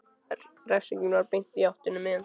Refsingin var beint í háttinn um miðjan dag.